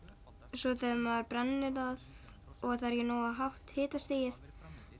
svo þegar maður brennir það og það er ekki nógu hátt hitastig